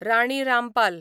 Rani Rampal